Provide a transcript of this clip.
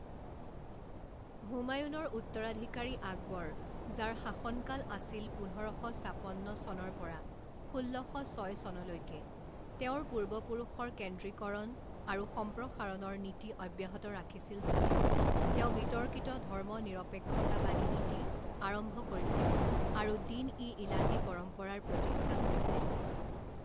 হুমায়ুনৰ উত্তৰাধিকাৰী আকবৰ যাৰ শাসনকাল আছিল পোন্ধৰ শ ছাপন্ন চনৰ পৰা ষোল্ল শ ছয় চনলৈকে তেওঁৰ পূৰ্বপুৰুষৰ কেন্দ্ৰীকৰণ আৰু সম্প্ৰসাৰণৰ নীতি অব্যাহত ৰাখিছিল যদিও তেওঁ বিতৰ্কিত ধৰ্মনিৰপেক্ষতাবাদী নীতি আৰম্ভ কৰিছিল আৰু দিন ই ইলাহী পৰম্পৰাৰ প্ৰতিষ্ঠা কৰিছিল।